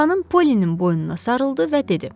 Xanım Polinin boynuna sarıldı və dedi: